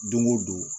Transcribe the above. Don o don